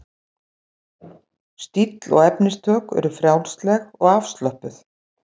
Stíll og efnistök eru frjálsleg og afslöppuð.